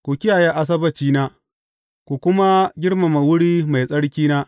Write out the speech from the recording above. Ku kiyaye Asabbacina, ku kuma girmama wuri mai tsarkina.